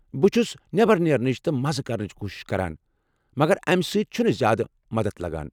بہٕ چھُس نٮ۪بر نیرنٕچ تہٕ مزٕ کرنٕچ کوٗشش کران، مگر امہ سۭتۍ چھنہٕ زیادٕ مدتھ لگان ۔